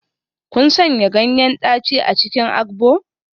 Kun sanya ganyen daci a cikin agbo?